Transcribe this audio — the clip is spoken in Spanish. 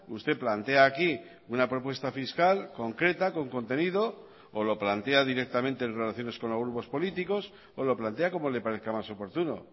usted plantea aquí una propuesta fiscal concreta con contenido o lo plantea directamente en relaciones con los grupos políticos o lo plantea como le parezca más oportuno